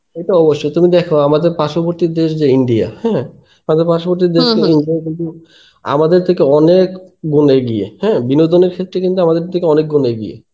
সে তো অবশ্যই তুমি দেখো আমাদের পার্শবর্তী দেশ যে India হ্যাঁ মানে পার্শবর্তী কিন্তু আমাদের থেকে অনেক গুন এগিয়ে হ্যাঁ বিনোদনের ক্ষেত্রে কিন্তু আমাদের থেকে অনেকগুণ এগিয়ে.